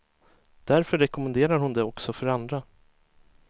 Därför rekommenderar hon det också för andra.